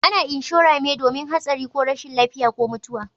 A na inshora me domin hatsari ko rashin lafiya ko mutuwa